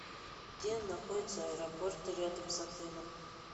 где находятся аэропорты рядом с отелем